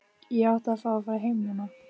Ég átti að fá að fara heim núna.